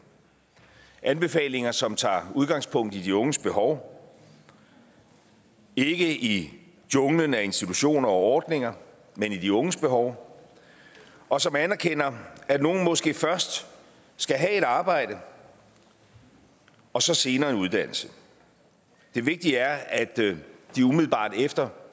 anbefalinger som tager udgangspunkt i de unges behov ikke i junglen af institutioner og ordninger men i de unges behov og som anerkender at nogle måske først skal have et arbejde og så senere en uddannelse det vigtige er at de umiddelbart efter